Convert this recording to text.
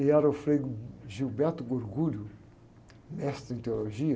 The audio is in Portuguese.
E era o Frei, mestre em teologia.